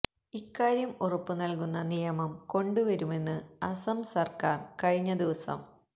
ഇക്കാര്യം ഉറപ്പു നല്കുന്ന നിയമം കൊണ്ടുവരുമെന്ന് അസം സര്ക്കാര് കഴിഞ്ഞ ദിവസം